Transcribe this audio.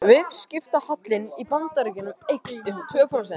Viðskiptahallinn í Bandaríkjunum eykst